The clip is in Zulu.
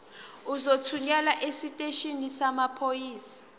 uzothunyelwa esiteshini samaphoyisa